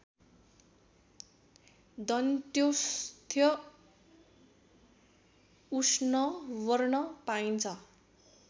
दन्त्योष्ठ्य उष्णवर्ण पाइन्छ